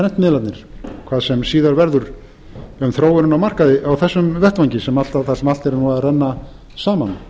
prentmiðlarnir hvað sem síðar verður í þróun á markaði á þessum vettvangi þar sem allt er nú að renna saman